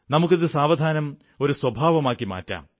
നമുക്കിത് സാവധാനം ഒരു സ്വഭാവമാക്കി മാറ്റാം